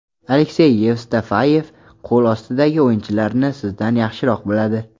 Aleksey Yevstafeyev qo‘l ostidagi o‘yinchilarni sizdan yaxshiroq biladi.